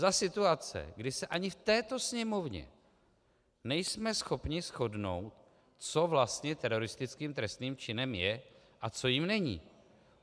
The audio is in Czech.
Za situace, kdy se ani v této Sněmovně nejsme schopni shodnout, co vlastně teroristickým trestným činem je a co jím není.